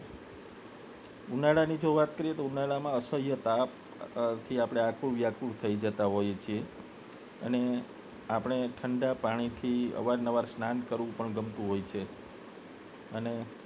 ઉનાળાની જો વાત કરીએ તો ઉનાળામાં અસહ્ય તાપ થી આતુર વ્યાકુળ થઈ જતા હોઈએ અને આપને ઠંડા પાણીથી અવારનવાર સ્નાન કરવું પણ ગમતું હોય છે અને